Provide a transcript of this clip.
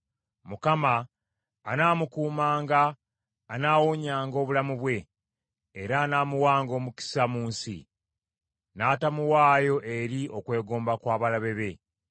Mukama anaamukuumanga anaawonyanga obulamu bwe, era anaamuwanga omukisa mu nsi; n’atamuwaayo eri okwegomba kw’abalabe be.